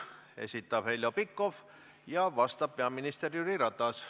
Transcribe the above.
Selle esitab Heljo Pikhof ja vastab peaminister Jüri Ratas.